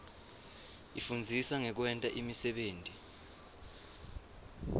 ifundzisa ngekwenta imisebenti